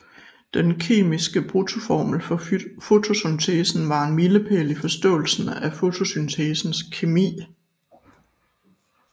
Den kemiske bruttoformel for fotosyntesen var en milepæl i forståelsen af fotosyntesens kemi